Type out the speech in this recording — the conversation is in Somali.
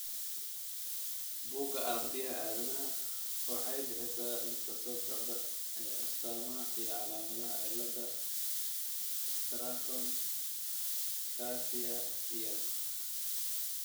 Bugga Aaragtiyaha Aadanaaha waxay bixisaa liiska soo socda ee astamaha iyo calaamadaha cilada Stratton Garcia Yaar.